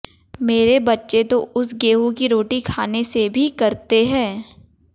मेरे बच्चे तो उस गेहूं की रोटी खाने से भी करते हैं